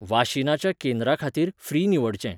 वाशिनाच्या केंद्रा खातीर फ्री निवडचें.